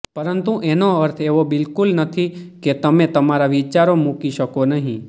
પરંતુ એનો અર્થ એવો બિલકુલ નથી કે તમે તમારા વિચારો મૂકી શકો નહીં